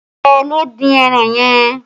Ta ló dín ẹran yẹn?